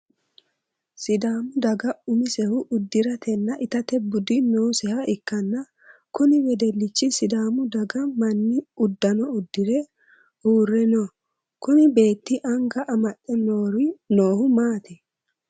Sidaamu daga umisehu udiratenna itate budi nooseha ikanna kunni wedelichi sidaamu daga manni udano udire uure no kunni beeti anga amaxe noohu maati?